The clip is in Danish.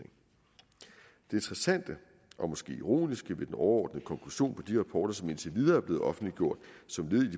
interessante og måske ironiske ved den overordnede konklusion på de rapporter som indtil videre er blevet offentliggjort som led i